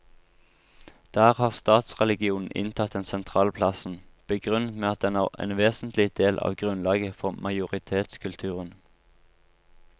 Der har statsreligionen inntatt den sentrale plassen, begrunnet med at den er en vesentlig del av grunnlaget for majoritetskulturen.